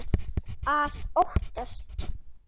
Að óttast!